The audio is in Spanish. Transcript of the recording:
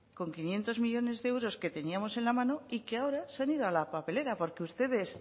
con quinientos millónes de euros que teníamos en la mano y que ahora se han ido a la papelera porque ustedes